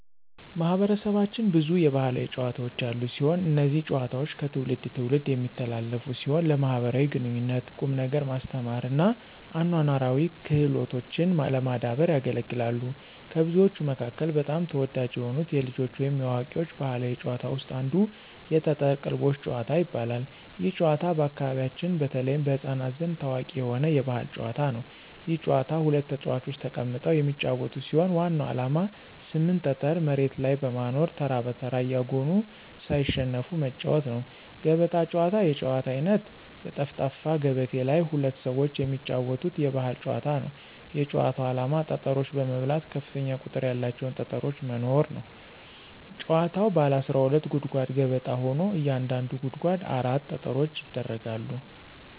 ማህበረሰባችን ብዙ የባህላዊ ጨዋታዎች ያሉት ሲሆን። እነዚህ ጨዋታዎች ከትውልድ ትውልድ የሚተላለፉ ሲሆን ለማኅበራዊ ግንኙነት፣ ቁም ነገር ማስተማር እና አኗኗራዊ ክህሎቶችን ለማዳበር ያገለግላሉ። ከብዙዎቹ መካከል በጣም ተወዳጅ የሆኑት የልጆች ወይም የአዋቂዎች ባህላዊ ጨዋታዎች ውስጥ አንዱ የጠጠር ቅልቦሽ ጭዋታ ይባላል። ይህ ጨዋታ በአካባቢያችን በተለይም በሕፃናት ዘንድ ታዋቂ የሆነ የባህል ጨዋታ ነው። ይህ ጨዋታ ሁለት ተጫዋቾች ተቀምጠው የሚጫወቱት ሲሆን ዋናው ዓላማ 8 ጠጠር መሬት ላይ በማኖር ተራ በተራ እያጎኑ ሳይሸነፉ መጫዎት ነው። ገበጣ ጨዋታ የጨዋታ አይነት በጠፍጣፋ ገበቴ ላይ ሁለት ሰዎች የሚጫወቱት የባህል ጨዋታ ነው። የጭዋታው አላማ ጠጠሮች በመብላት ከፍተኛ ቁጥር ያላቸውን ጠጠሮች መኖር ነው። ጭዋታዉ ባለ 12 ጉድጓድ ገበጣ ሆኖ እያንዳንዱ ጉድጓድ 4 ጠጠሮች ይደረጋሉ።